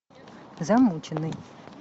замученный